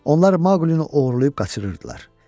Onlar Maqlini oğurlayıb qaçırırdılar.